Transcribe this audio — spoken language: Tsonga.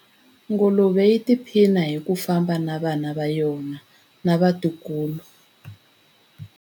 Nguluve yi tiphina hi ku famba na vana va yona na vatukulu.